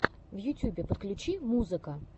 в ютьюбе подключи музыка